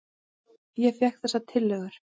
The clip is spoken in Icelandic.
Ég fékk þessar tillögur.